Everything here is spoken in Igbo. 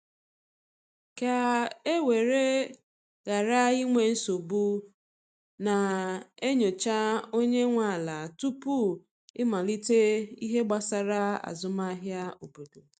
ka e were ghara inwe nsogbu, na e nyocha onye nwe ala tupu i malite ihe gbasara azụmahịa n’obodo